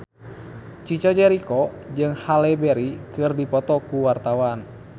Chico Jericho jeung Halle Berry keur dipoto ku wartawan